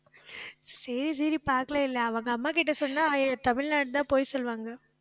சரி, சரி, பார்க்கலை இல்லை அவங்க அம்மாகிட்ட சொன்னால் ஏ தமிழ்நாடுதான் போக சொல்லுவாங்க